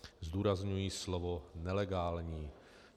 Zdůrazňuji slovo nelegální.